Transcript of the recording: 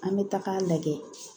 An bɛ taga lajɛ